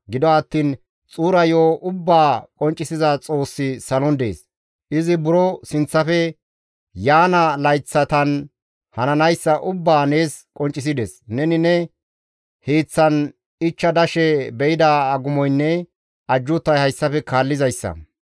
Gido attiin xuura yo7o ubbaa qonccisiza Xoossi salon dees; izi buro sinththafe yaana layththatan hananayssa ubbaa nees qonccisides; neni ne hiiththan ichcha dashe be7ida agumoynne ajjuutay hayssafe kaallizayssa.